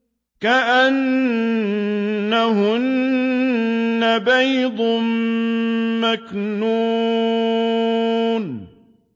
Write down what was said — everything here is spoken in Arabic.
كَأَنَّهُنَّ بَيْضٌ مَّكْنُونٌ